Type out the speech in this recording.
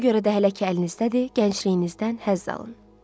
Ona görə də hələ ki əlinizdədir, gəncliyinizdən həzz alın.